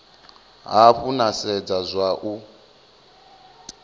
hafhu na sedza zwa u